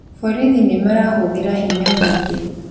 Borithi nĩmarahũthĩra hinya mũingĩ